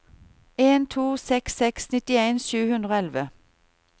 en to seks seks nittien sju hundre og elleve